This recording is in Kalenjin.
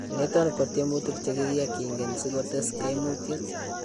Niton ko tyemuutik chekakiyai kiingen sikotees kaimutyet .